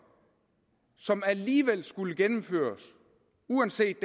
som alligevel skulle gennemføres uanset